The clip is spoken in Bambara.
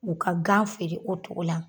U ka gan feere o togo la